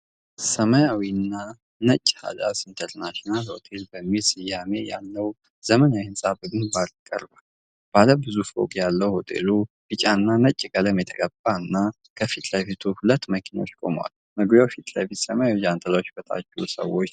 ሰማያዊና ነጭ ሃዳስ ኢንተርናሽናል ሆቴል የሚል ስያሜ ያለው ዘመናዊ ህንፃ በግንባር ቀርቧል። ባለ ብዙ ፎቅ ያለው ሆቴሉ ቢጫና ነጭ ቀለም የተቀባ እና፣ ከፊት ለፊቱ ሁለት መኪናዎች ቆመዋል። መግቢያው ፊት ለፊት ሰማያዊ ጃንጥላዎች በታች ሰዎች ተቀምጠዋል።